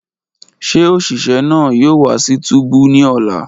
Ṣe oṣiṣẹ naa yoo wa si túbú ni ọla?